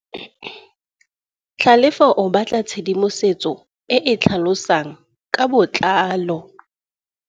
Tlhalefô o batla tshedimosetsô e e tlhalosang ka botlalô.